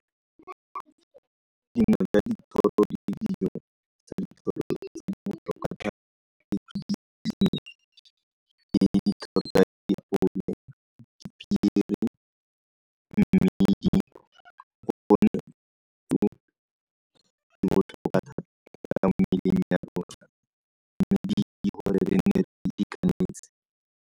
.